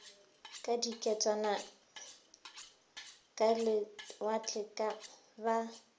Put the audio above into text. ka diketswana ka lewatle ba